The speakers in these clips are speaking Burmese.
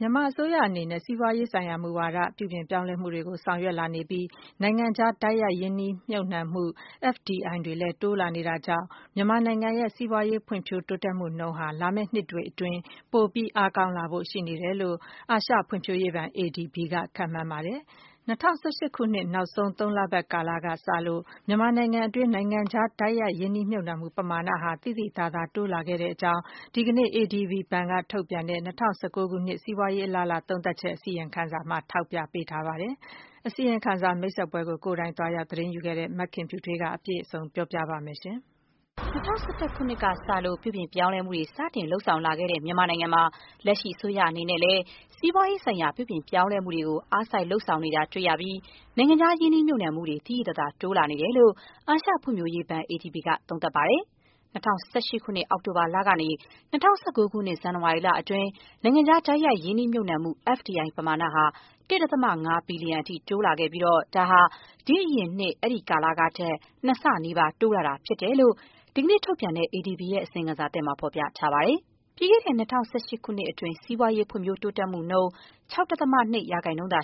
မြန်မာအစိုးရအနေနဲ့ စီးပွားရေးဆိုင်ရာ မူဝါဒ ပြုပြင်ပြောင်းလဲမှုတွေကို ဆောင်ရွက် လာနေပြီး နိုင်ငံခြား တိုက်ရိုက် ရင်းနှီးမြှုပ်နှံမှု FDI တွေလည်း တိုးလာနေ တာကြောင့် မြန်မာနိုင်ငံရဲ့ စီးပွားရေးဖွံ့ဖြိုးတိုးတက်မှုနှုန်းဟာ လာမယ့်နှစ်တွေအတွင်း ပိုမို အားကောင်းလာဖို့ ရှိနေတယ်လို့ အာရှဖွံ့ဖြိုးရေးဘဏ် ADB က ခန့်မှန်းပါတယ်။ ၂၀၁၈ ခုနှစ် နောက်ဆုံး သုံးလပတ်ကာလ ကစလို့ မြန်မာနိုင်ငံတွင်း နိုင်ငံခြား တိုက်ရိုက် ရင်းနှီးမြှုပ်နှံမှု ပမာဏဟာ သိသိသာသာ တိုးလာခဲ့တဲ့အကြောင်း ဒီကနေ့ ADB ဘဏ်က ထုတ်ပြန်တဲ့ ၂၀၁၉ ခုနှစ် စီးပွားရေး အလားအလာ သုံးသပ်ချက် အစီရင်ခံစာမှာ ထောက်ပြထားပါတယ်။ အစီရင်ခံစာ မိတ်ဆက်ပွဲကို ကိုယ်တိုင် သွားရောက် သတင်းယူခဲ့တဲ့ မခင်ဖြူထွေးက အပြည့်စုံ တင်ပြပေးပါမယ်။ ၂၀၁၁ ခုနှစ်ကစလို့ ပြုပြင်ပြောင်းလဲမှုတွေ စတင်လုပ်ဆောင်လာခဲ့တဲ့ မြန်မာနိုင်ငံမှာ လက်ရှိ အစိုးရအနေနဲ့လည်း စီးပွားရေးဆိုင်ရာ ပြုပြင် ပြောင်းပြောင်းလဲမှုတွေကို အားစိုက်လုပ်ဆောင်လာနေတာ တွေ့ရပြီး၊ နိုင်ငံခြားရင်းနှီးမြှုပ်နှံမှုတွေကို သိသိသာသာ တိုးလာနေတယ်လို့ အာရှဖွံ့ဖြိုးရေးဘဏ် ADB က သုံးသပ်ပါတယ်။ ၂၀၁၈ ခုနှစ် အောက်တိုဘာလကနေ ၂၀၁၉ ခုနှစ် ဇန်နဝါရီလအတွင်း နိုင်ငံခြား တိုက်ရိုက် ရင်းနှီးမြှုပ်နှံမှု FDI ပမာဏဟာ ၁.၅ ဘီလျံအထိ တိုးလာခဲ့ပြီး ဒါဟာ ဒီ့အရင်နှစ် အဲ့ဒီကာလကထက် ၂ ဆနီးပါး တိုးလာတာ ဖြစ်တဲ့အကြောင်း ဒီကနေ့ ထုတ်ပြန်တဲ့ အစီရင်ခံစာသစ်မှာ ဖော်ပြထားပါတယ်။ ပြီးခဲ့တဲ့ ၂၀၁၈ ခုနှစ်အတွင်း စီးပွားရေး ဖွံ့ဖြိုးတိုးတက်မှုနှုန်း ၆.၂ %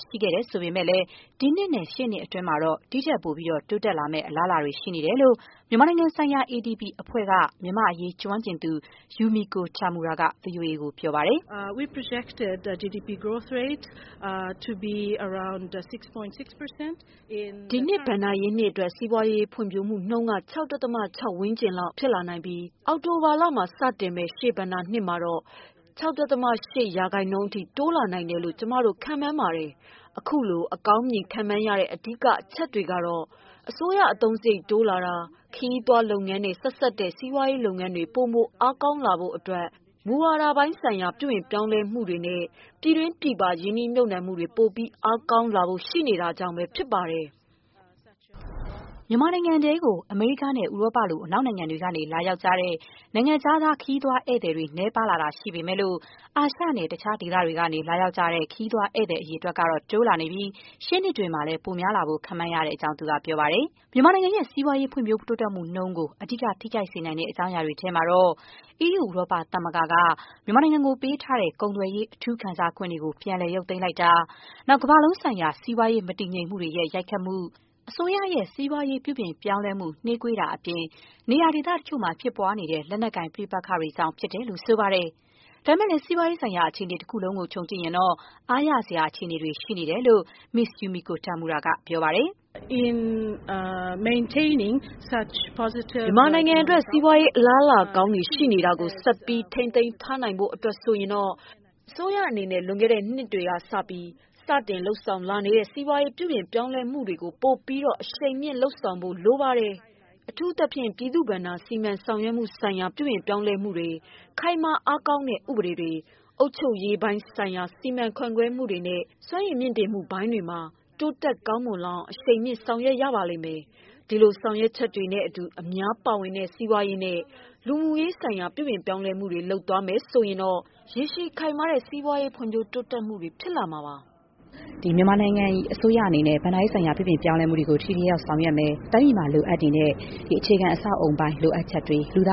ရှိခဲ့ပြီး၊ ဒီနှစ်နဲ့ ရှေ့နှစ်အတွင်းမှာတော့ ဒီ့ထက်ပိုပြီး တိုးတက်လာဖို့ အလားအလာကောင်းတွေ ရှိနေတယ်လို့ မြန်မာနိုင်ငံဆိုင်ရာ ADB အဖွဲ့က မြန်မာ့အရေးကျွမ်းကျင်သူ Yumiko Tamura က ဗွီအိုအေကို ခုလို ပြောပါတယ်။ “ဒီနှစ် ဘဏ္ဍာရေးနှစ်အတွက် စီးပွားရေးဖွံ့ဖြိုးမှုနှုန်းက ၆.၆ % ဝန်းကျင်လောက် ဖြစ်လာနိုင်ပြီး အောက်တိုဘာလမှာ စတင်မယ့် ရှေ့ဘဏ္ဍာရေးနှစ်မှာတော့ ၆.၈% အထိ တိုးလာနိုင်တယ်လို့ ကျမတို့ ခန့်မှန်းပါတယ်။ အခုလို အကောင်းမြင်ခန့်မှန်းရတဲ့ အဓိက အချက်တွေထဲမှာတော့ အစိုးရအသုံးစရိတ် တိုးလာတာ၊ ခရီးသွားလုပ်ငန်းနဲ့ ဆက်စပ်တဲ့ စီးပွားရေးလုပ်ငန်းတွေ ပိုမို အားကောင်းလာဖို့အတွက် မူဝါဒပိုင်းဆိုင်ရာ ပြုပြင်ပြောင်းလဲမှုတွေနဲ့ ပြည်တွင်းပြည်ပ ရင်းနှီးမြှုပ်နှံမှုတွေ ပိုပြီး အားကောင်းလာဖို့ ရှိနေတာတွေကြောင့် ဖြစ်ပါတယ်။” မြန်မာနိုင်ငံတွင်း အမေရိကားနဲ့ ဥရောပ လို အနောက်နိုင်ငံတွေက လာရောက်ကြတဲ့ နိုင်ငံခြားသား ခရီးသည်အရေအတွက် နည်းပါးလာတာ ရှိပေမဲ့လို့ အာရှနဲ့ တခြားဒေသတွေကနေ လာရောက်ကြတဲ့ ခရီးသွားဧည့်သည်တွေကတော့ တိုးလာနေပြီး ရှေ့နှစ်တွေမှာ ပိုများလာဖို့ ခန့်မှန်း ရတဲ့အကြောင်းလည်း သူက ပြောပါတယ်။ မြန်မာနိုင်ငံ စီးပွားရေးဖွံ့ဖြိုးမှုနှုန်းကို အဓိက ထိခိုက်စေနိုင်တဲ့ အကြောင်းအရာတွေ ထဲမှာတော့ - အီးယူ ဥရောပသမဂ္ဂက မြန်မာနိုင်ငံကို ပေးထားတဲ့ ကုန်သွယ်ရေး အထူး ခံစားခွင့်တွေ ပြန်လည် ရုပ်သိမ်းလိုက်တာ၊ ကမ္ဘာလုံးဆိုင်ရာ စီးပွားရေးမတည်ငြိမ်မှုတွေရဲ့ ရိုက်ခတ်မှု၊ စီးပွားရေး ပြုပြင်ပြောင်းလဲမှု နှေးကွေးနေတာအပြင် နေရာဒေသတချို့မှာ ဖြစ်ပွားနေတဲ့ လက်နက်ကိုင်ပဋိပက္ခတွေကြောင့် လို့ ဆိုပါတယ်။ ဒါပေမဲ့လည်း စီးပွားရေးဆိုင်ရာ အခြေအနေ တခုလုံးကို ခြုံကြည့်ရင်တော့ အားရစရာ အခြေအနေတွေ ရှိနေတယ်လို့ Ms Yumiko Tamura က ပြောပါတယ်။ “မြန်မာနိုင်ငံအတွက် စီးပွားရေး အလားအလာကောင်းတွေ ရှိနေတာကို ဆက်ပြီး ထိန်းသိမ်းထားနိုင်ဖို့ အတွက်ဆိုရင်တော့ - အစိုးရအနေနဲ့ လွန်ခဲ့တဲ့နှစ်ပိုင်းတွေကစပြီး စတင်လုပ်ဆောင်လာနေတဲ့ စီးပွားရေး ပြုပြင်ပြောင်းလဲမှုတွေကို ပိုပြီးတော့ အရှိန်မြှင့်လုပ်ဆောင်ဖို့ လိုပါတယ်။ အထူးသဖြင့် ပြည်သူ့ဘဏ္ဍာ စီမံဆောင်ရွက်မှုဆိုင်ရာ ပြုပြင်ပြောင်းလဲမှုတွေ၊ ခိုင်မာအားကောင်းတဲ့ ဥပဒေတွေ၊ အုပ်ချုပ်ရေးပိုင်းဆိုင်ရာ စီမံခန့်ခွဲမှုတွေ နဲ့ စွမ်းရည်မြှင့်တင်မှုပိုင်းတွေမှာ တိုးတက်ကောင်းမွန်လာအောင် အရှိန်မြှင့် ဆောင်ရွက်ရပါလိမ့်မယ်။ ဒီလို ဆောင်ရွက်ချက်တွေ နဲ့အတူ အများပါဝင်တဲ့ စီးပွားရေးနဲ့ လူမှုရေးဆိုင်ရာ ပြုပြင်ပြောင်းလဲမှုတွေ လုပ်သွားမယ်ဆိုရင်တော့ ရေရှည်ခိုင်မာတဲ့ စီးပွားရေးဖွံ့ဖြိုး တိုးတက်မှုတွေ ဖြစ်လာစေမှာပါ။” မြန်မာအစိုးရအနေနဲ့ ဘဏ္ဍာရေးဆိုင်ရာ ပြုပြင်ပြောင်းလဲမှုတွေကို ထိထိရောက်ရောက် ဆောင်ရွက်သွားမယ်၊ ရင်းနှီးမြှုပ်နှံမှုတွေ အားကောင်းလာဖို့အတွက် လိုအပ်တဲ့ အခြေခံအဆောက်အအုံပိုင်းဆိုင်ရာ လိုအပ်ချက်တွေနဲ့ လူသာ